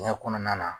Ɲɛ kɔnɔna na